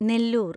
Nellore